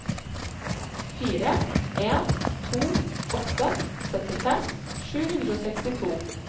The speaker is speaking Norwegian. fire en to åtte syttifem sju hundre og sekstito